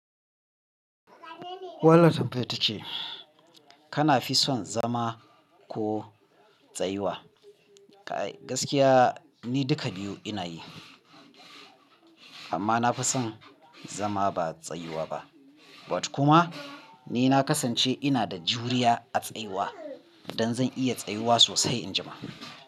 Wannan tambayar ta ce kana fi son zama ko tsayuwa? Kai gaskiya ni duka biyu ina yi amma na fi son zama ba tsayuwa ba. But kuma ni na kasance ina da juriya a tsayuwa don zan iya tsayuwa sosai in ji ma.